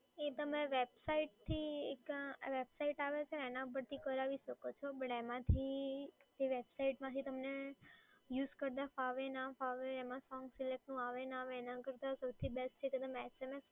માંથી એ વેબસાઈટમાંથી તમને યુઝ કરતાં ફાવે ના ફાવે, એમાં સોંગ સિલેક્ટનું આવે ના આવે, એના કરતાં સૌથી બેસ્ટ છે કે તમે SMS કરીને કરાવી દો તો તમને ઈઝી પડે